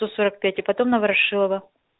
сто сорок пять и потом на ворошилова